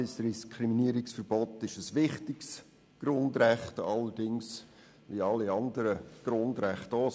Das Diskriminierungsverbot ist ein wichtiges Grundrecht – allerdings wie all die anderen Grundrechte auch.